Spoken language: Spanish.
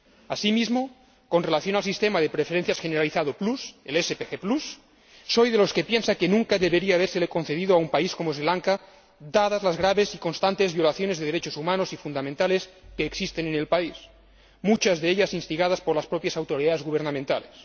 Asimismo, con relación al Sistema Generalizado de Preferencias Plus, el SGP Plus, soy de los que piensa que nunca debería habérsele concedido a un país como Sri Lanka, dadas las graves y constantes violaciones de derechos humanos y fundamentales que existen en el país, muchas de ellas instigadas por las propias autoridades gubernamentales.